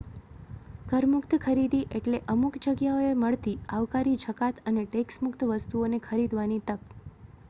કર-મુક્ત ખરીદી એટલે અમુક જગ્યાઓએ મળતી આવકારી જકાત અને ટેક્સ મુક્ત વસ્તુઓને ખરીદવાની તક